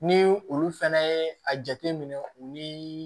Ni olu fɛnɛ ye a jateminɛ u ni